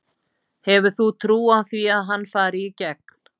Hefur þú trú á því að hann fari í gegn?